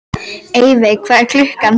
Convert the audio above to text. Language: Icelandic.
Evey, hvað er klukkan?